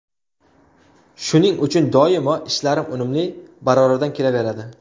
Shuning uchun doimo ishlarim unumli, baroridan kelaveradi.